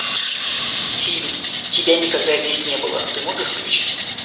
фильм тебя никогда здесь не было ты можешь включить